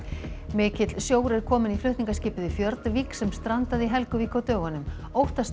mikill sjór er kominn í flutningaskipið Fjordvik sem strandaði í Helguvík á dögunum óttast